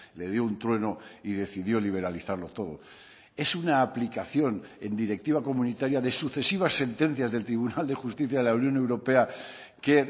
le dio un trueno y decidió liberalizarlo todo es una aplicación en directiva comunitaria de sucesivas sentencias del tribunal de justicia de la unión europea que